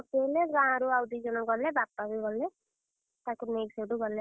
ଆଉ ଗାଁରୁ ଆଉ ଦି ଜଣ ଗଲେ ବାପା ବି ଗଲେ, ତାକୁ ନେଇକି ସେଇଠୁ ଗଲେ।